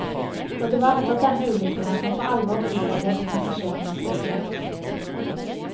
Og det var etter denne ulykken at man for alvor begynte å se på passasjerenes sikkerhet.